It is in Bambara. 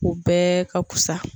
U bɛɛ ka fisa.